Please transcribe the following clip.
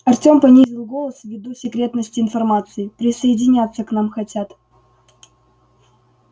артём понизил голос ввиду секретности информации присоединяться к нам хотят